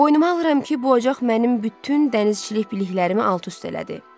Boynuma alıram ki, bu ocaq mənim bütün dənizçilik biliklərimi alt-üst elədi.